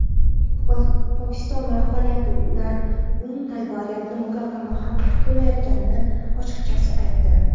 Pokiston rahbariyati ular bunday variantni muhokama ham qilmayotganini ochiqcha aytdi.